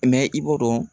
i b'o dɔn